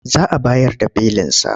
Za a bayar da belinsa.